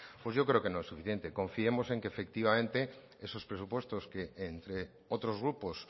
pues yo creo que no es suficiente confiemos en que efectivamente esos presupuestos que entre otros grupos